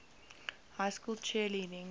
high school cheerleading